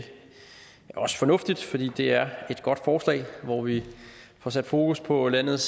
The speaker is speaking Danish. også fornuftigt for det er et godt forslag hvor vi får sat fokus på landets